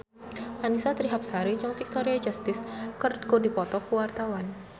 Annisa Trihapsari jeung Victoria Justice keur dipoto ku wartawan